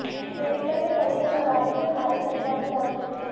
मृतका के परिजन अदालत में भारी संख्या में मौजूद थे